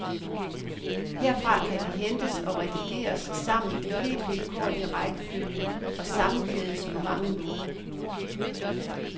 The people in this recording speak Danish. Herfra kan de hentes og redigeres sammen i helt vilkårlig rækkefølge og sammenkædes på mange måder.